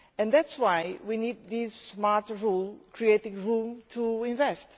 That is why we need these smart rules creating room to invest.